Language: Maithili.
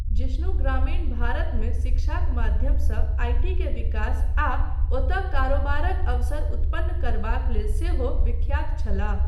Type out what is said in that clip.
जिष्णु ग्रामीण भारतमे शिक्षाक माध्यमसँ आइ.टी. के विकास आ ओतय कारोबारक अवसर उत्पन्न करबाक लेल सेहो विख्यात छलाह।